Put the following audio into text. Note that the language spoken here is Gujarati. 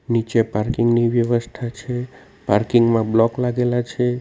નીચે પાર્કિંગ ની વ્યવસ્થા છે પાર્કિંગ માં બ્લોક લાગેલા છે.